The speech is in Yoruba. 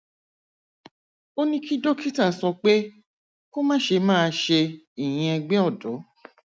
ó ní kí dókítà sọ pé kó má ṣe máa ṣe ìyínẹgbẹ ọdọ